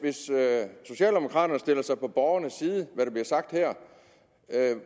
socialdemokraterne stiller sig på borgernes side som bliver sagt her